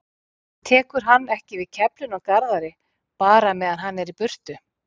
Tekur hann ekki við keflinu af Garðari bara meðan hann er í burtu?